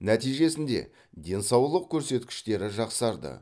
нәтижесінде денсаулық көрсеткіштері жақсарды